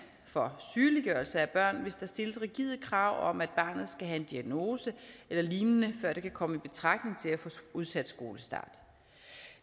for sygeliggørelse af børn hvis der stilles rigide krav om at barnet skal have en diagnose eller lignende før det kan komme i betragtning til at få udsat skolestart